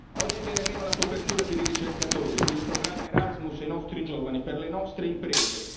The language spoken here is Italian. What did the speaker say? Oggi viene meno la copertura per i ricercatori e per il programma Erasmus ai nostri giovani, per le nostre imprese.